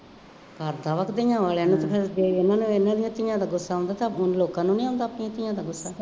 ਹੱਦ ਆ ਧੀਆਂ ਵਾਲਿਆ ਨੂੰ ਫੇਰ ਜੇ ਇਹਨਾ ਨੂੰ ਇਹਨਾ ਦੀਆਂ ਧੀਆਂ ਦਾ ਗੁੱਸਾ ਆਉਂਦਾ ਸਭ ਨੂੰ ਲੋਕਾਂ ਨੂੰ ਨਹੀਂ ਆਉਂਦਾ ਆਪਣੀਆਂ ਧੀਆਂ ਦਾ ਗੁੱਸਾ